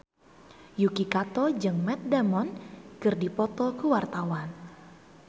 Yuki Kato jeung Matt Damon keur dipoto ku wartawan